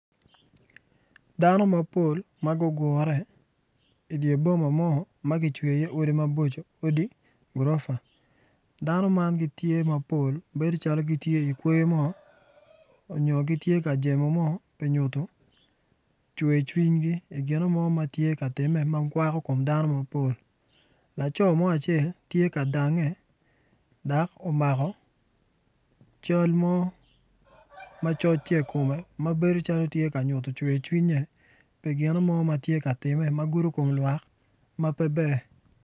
Dano mapol magugure inge boma mo magicweo i ye odi maboco odi gurofa dano man gitye mapol bedo calo gitye i kwoyo mo onyo gitye ka jemo mo pi nyuto cwer cwinyi pi gino mo matye ka time makwako kom dano mapol laco mo acel tye ka dange dok omako cal mo macoc tye i kome mabedo calo tye ka nyuto cwer cwinye pi gine mo matye ka time magudo wi lwak mapeber.